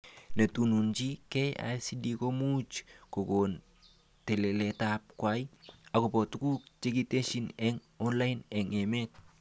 Netunuchni KICD komuch kokon telelet kwai akobo tuguk chekitesyi eng online eng emet